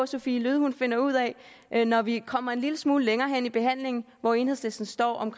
sophie løhde finder ud af når vi kommer en lille smule længere hen i behandlingen hvor enhedslisten står